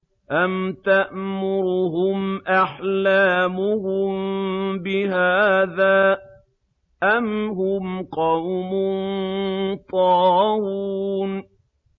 أَمْ تَأْمُرُهُمْ أَحْلَامُهُم بِهَٰذَا ۚ أَمْ هُمْ قَوْمٌ طَاغُونَ